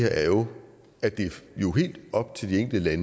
er jo at det er helt op til de enkelte